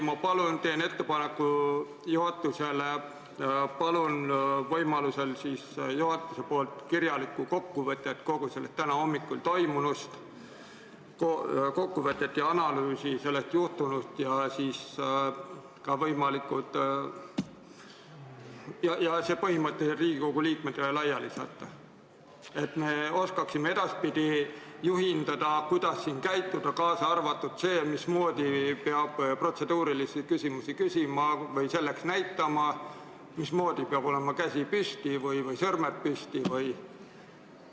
Ma teen juhatusele ettepaneku koostada võimaluse korral kirjalik kokkuvõte kõigest täna hommikul toimunust – teha juhtunust kokkuvõte ja analüüs – ning saata see Riigikogu liikmetele laiali, et saaksime sellest edaspidi juhinduda ja teaksime, kuidas siin käituda, kaasa arvatud seda, mismoodi peab protseduurilisi küsimusi küsima või selleks soovi üles näitama, mismoodi peavad käsi või sõrmed püsti olema.